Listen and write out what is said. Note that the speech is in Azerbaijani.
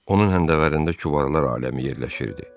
Onun həndəvərində kübarlar aləmi yerləşirdi.